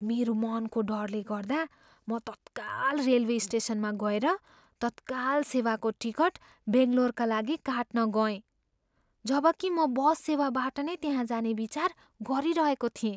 मेरो मनको डरले गर्दा, म तत्काल रेलवे स्टेसनमा गएर तत्काल सेवाको टिकट बङ्गलोरका लागि काट्न गएँ, जबकि म बसबाट नै त्यहाँ जाने विचार गरिरहेको थिएँ।